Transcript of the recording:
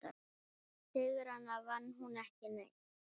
Sigrana vann hún ekki ein.